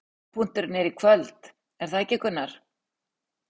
Hápunkturinn er í kvöld, er það ekki, Gunnar?